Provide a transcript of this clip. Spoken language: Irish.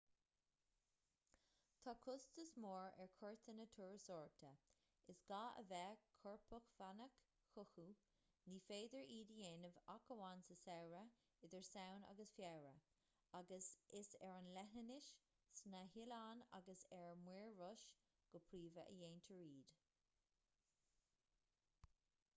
tá costas mór ar chuairteanna turasóireachta is gá a bheith corpacmhainneach chucu ní féidir iad a dhéanamh ach amháin sa samhradh idir samhain agus feabhra agus is ar an leithinis sna hoileáin agus ar muir rois go príomha a dhéantar iad